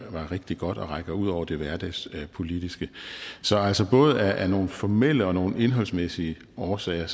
rigtig god og som rækker ud over det hverdagspolitiske så altså både af nogle formelle og nogle indholdsmæssige årsager